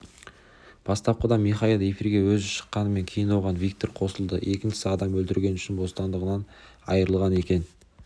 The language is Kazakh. бастапқыда михаил эфирге өзі шыққанымен кейін оған виктор қосылды екіншісі адам өлтіргені үшін бостандығынан айырылған екен